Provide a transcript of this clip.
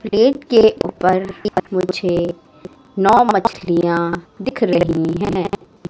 Gate के ऊपर मुझे नौ मछलियाँ दिख रहीं हैं।